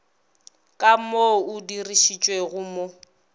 ka mo o dirišitšwego mo